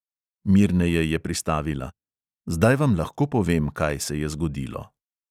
Mirneje je pristavila: "zdaj vam lahko povem, kaj se je zgodilo."